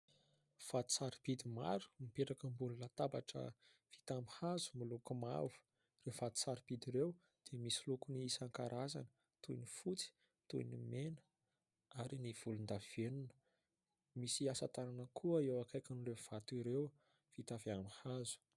Vato sarobidy maro mipetraka ambony latabatra vita amin'ny hazo miloko mavo. Ireo vato sarobidy ireo dia misy loko ny isan-karazany toy ny fotsy, toy ny mena, ary ny volondavenona. Misy asa tanana koa eo akaikin'ireo vato ireo vita avy amin'ny hazo.